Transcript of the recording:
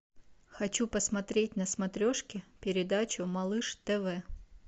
хочу посмотреть на смотрешке передачу малыш тв